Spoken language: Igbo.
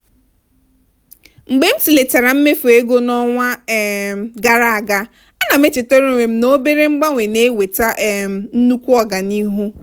mgbe m tụlechara mmefu ego n'ọnwa um gara aga a na m echetara onwe m na obere mgbanwe na-eweta um nnukwu ọganihu.